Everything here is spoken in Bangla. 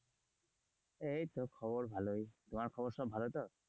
এইতো খবর ভালোই, তোমার সব খবর ভালো তো?